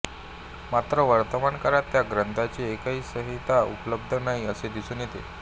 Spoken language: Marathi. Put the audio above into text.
मात्र वर्तमानकाळात त्या ग्रंथाची एकही संहिता उपलब्ध नाही असे दिसून येते